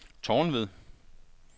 Tornved